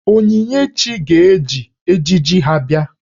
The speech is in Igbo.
Onyinyechi ga-eji ejiji ha bịa.